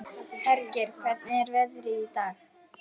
Hergeir, hvernig er veðrið í dag?